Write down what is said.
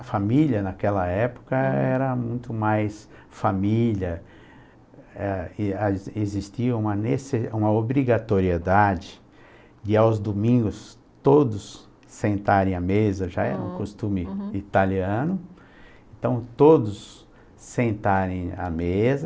a família naquela época era muito mais família, é e, existia uma obrigatoriedade de aos domingos todos sentarem à mesa, hm, já era um costume uhum, i italiano, então todos sentarem à mesa